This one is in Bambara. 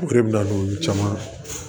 O de bɛ na n'olu caman